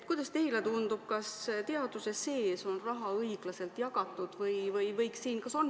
Kuidas teile tundub, kas teaduse sees on raha õiglaselt jagatud või võiks siin olla teisiti?